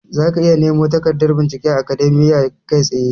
Zaka iya nemo takardar bincike a Akademiya kai tsaye.